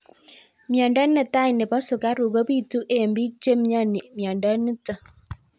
Miondo netai nepo sukaruk kopitu eng' pik che miani miondo nitok